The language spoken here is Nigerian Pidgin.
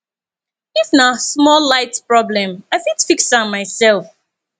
if na small light problem i fit fix am mysef